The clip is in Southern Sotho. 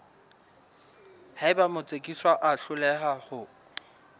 haeba motsekiswa a hloleha ho